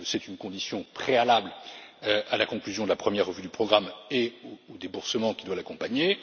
C'est une condition préalable à la conclusion de la première revue du programme et au déboursement qui doit l'accompagner.